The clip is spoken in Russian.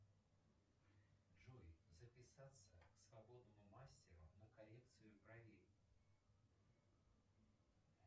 джой записаться к свободному мастеру на коррекцию бровей